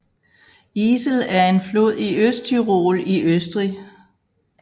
Isel er en flod i Østtyrol i Østrig